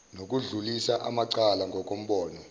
nokudlulisa amacala ngokombono